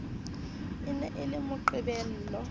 e ne e le moqebelo